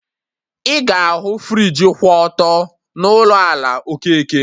Ị ga ahụ friji kwụ ọtọ n'ụlọ ala Okeke